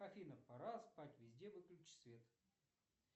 афина пора спать везде выключи свет